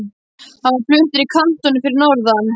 Hann var fluttur í kantónu fyrir norðan.